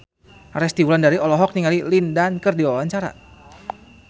Resty Wulandari olohok ningali Lin Dan keur diwawancara